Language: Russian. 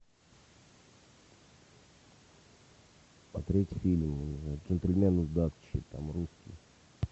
смотреть фильм джентльмены удачи там русский